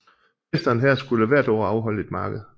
Fæsteren her skulle hvert år afholde et marked